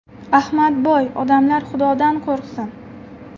Ahmadboy: Odamlar xudodan qo‘rqsin.